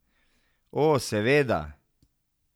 O, seveda.